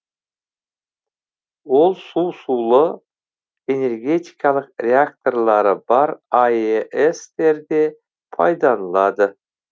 ол су сулы энергетикалық реакторлары бар аэс терде пайдаланылады